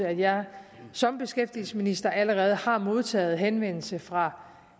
at jeg som beskæftigelsesminister allerede har modtaget henvendelser fra